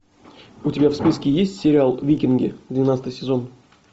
у тебя в списке есть сериал викинги двенадцатый сезон